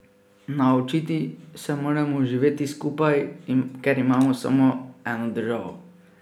Naučiti se moramo živeti skupaj, ker imamo samo eno državo.